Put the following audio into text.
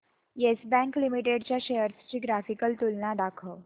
yes Bank Limited च्या shares ची graphical तुलना दाखव